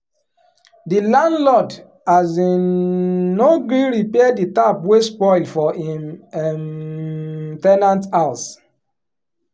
di landlord um no gree repair d tap wey spoil for him um ten ant house.